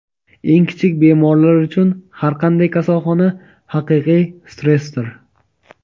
eng kichik bemorlar uchun har qanday kasalxona haqiqiy stressdir.